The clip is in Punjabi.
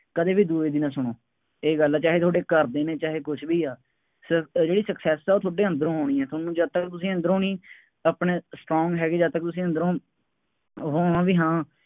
ਕਦੇ ਵੀ ਦੂਸਰੇ ਦੀ ਨਾ ਸੁਣੋ। ਇਹ ਗੱਲ ਹੈ, ਚਾਹੇ ਤੁਹਾਡੇ ਘਰ ਦੇ ਨੇ, ਚਾਹੇ ਕੁੱਛ ਵੀ ਹੈ, ਸਿਰਫ ਇਹ ਜਿਹੜੀ success ਹੈ ਉਹ ਤੁਹਾਡੇ ਅੰਦਰੋਂ ਆਉਣੀ ਹੈ, ਤੁਹਾਨੂੰ ਜਦ ਤੱਕ, ਤੁਸੀਂ ਅੰਦਰੋ ਨਹੀਂ ਆਪਣਾ strong ਹੈਗੇ ਜਦ ਤੱਕ ਤੁਸੀਂ ਅੰਦਰੋਂ ਹੋਵੋਗੇ ਹਾਂ